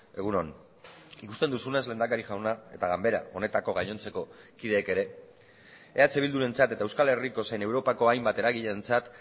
egun on ikusten duzunez lehendakari jauna eta ganbera honetako gainontzeko kideek ere eh bildurentzat eta euskal herriko zein europako hainbat eragileentzat